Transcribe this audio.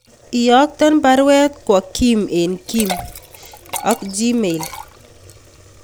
Iyokten baruet kwo Kim en kim@gmail.com